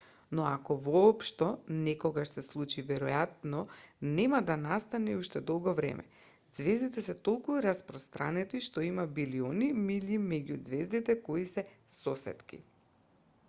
но ако воопшто некогаш се случи веројатно нема да настане уште долго време ѕвездите се толку распространети што има билиони милји меѓу ѕвездите кои се сосетки